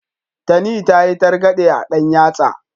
Tani ta yi targaɗe a ɗan yatsa.